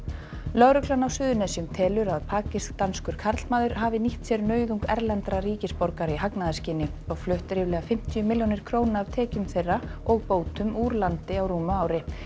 lögreglan á Suðurnesjum telur að pakistanskur karlmaður hafi nýtt sér nauðung erlendra ríkisborgara í hagnaðarskyni og flutt ríflega fimmtíu milljónir af tekjum þeirra og bótum úr landi á rúmu ári